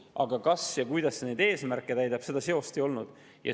Aga seost, kas või kuidas see eesmärke täidab, ei olnud.